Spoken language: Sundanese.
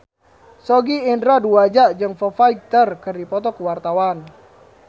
Sogi Indra Duaja jeung Foo Fighter keur dipoto ku wartawan